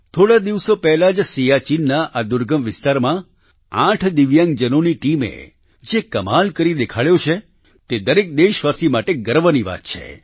થોડા દિવસો પહેલાં જ સિયાચિનના આ દુર્ગમ વિસ્તારમાં 8 દિવ્યાંગજનોની ટીમે જે કમાલ કરીને દેખાડ્યો છે તે દરેક દેશવાસી માટે ગર્વની વાત છે